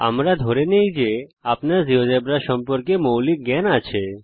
আমরা ধরে নেই যে আপনার জীয়োজেব্রা সম্পর্কে মৌলিক জ্ঞান আছে